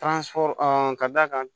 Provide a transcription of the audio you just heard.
ka d'a kan